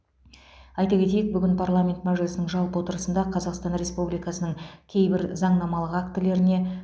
айта кетейік бүгін парламент мәжілісінің жалпы отырысында қазақстан республикасының кейбір заңнамалық актілеріне